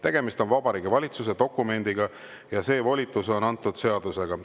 Tegemist on Vabariigi Valitsuse dokumendiga ja see volitus on antud seadusega.